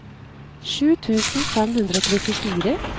sju tusen fem hundre og trettifire